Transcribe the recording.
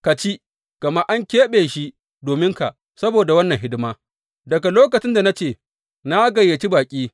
Ka ci, gama an keɓe shi dominka saboda wannan hidima daga lokacin da na ce, Na gayyaci baƙi.’